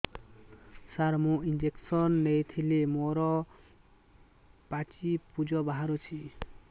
ସାର ମୁଁ ଇଂଜେକସନ ନେଇଥିଲି ମୋରୋ ପାଚି ପୂଜ ବାହାରୁଚି